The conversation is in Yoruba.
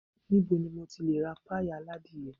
Ni bo ni mo ti lè ra páíì aládìyẹ?